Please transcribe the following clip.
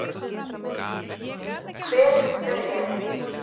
Hver sem þau eru.